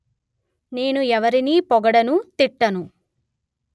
నేను ఎవరిని పొగడను తిట్టను